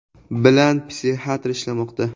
bilan psixiatr ishlamoqda.